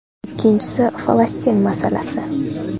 Ikkinchisi Falastin masalasi.